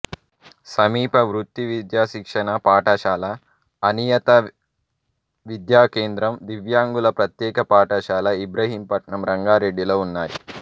సమీప వృత్తి విద్యా శిక్షణ పాఠశాల అనియత విద్యా కేంద్రం దివ్యాంగుల ప్రత్యేక పాఠశాల ఇబ్రహీంపట్నం రంగారెడ్డి లో ఉన్నాయి